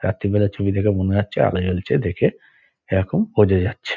রাত্রীর বেলা ছবি দেখে মনে হচ্ছে আলো জ্বলছে দেখে। এরকম বোঝা যাচ্ছে।